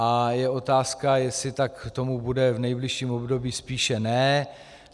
A je otázka, jestli tomu tak bude v nejbližším období, spíše ne.